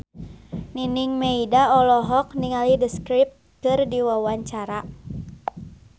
Nining Meida olohok ningali The Script keur diwawancara